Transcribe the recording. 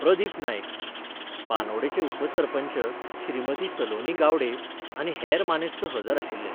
प्रदीप नाईक, बांदोडेचे उपसरपंच श्रीमती सलोनी गावडे आनी हेर मानेस्त हजर आशिल्ले.